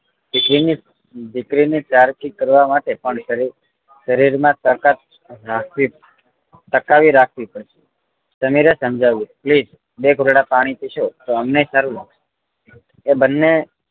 દીકરી ની દીકરી ની સરખી ઠીક કરવાં માટે પણ શરીર માં તાકાત રાખવી ટકાવી રાખવી પડે સમીરે સમજાવ્યું please બે ઘોટળા પાણી પીશો તો અમને સારું લાગશે એ બંને